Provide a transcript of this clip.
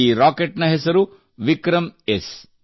ಈ ರಾಕೆಟ್ನ ಹೆಸರು ವಿಕ್ರಮ್ಎಸ್